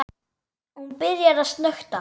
Hún byrjar að snökta.